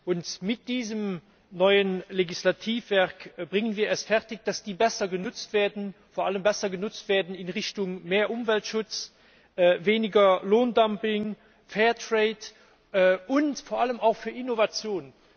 Und mit diesem neuen Legislativwerk bringen wir es fertig, dass die besser genutzt werden, vor allem besser genutzt werden in Richtung mehr Umweltschutz, weniger Lohndumping, Fair Trade und vor allem auch für Innovationen.